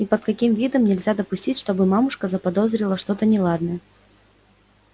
и под каким видом нельзя допустить чтобы мамушка заподозрила что-то неладное